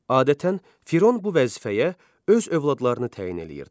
Adətən Firon bu vəzifəyə öz övladlarını təyin eləyirdi.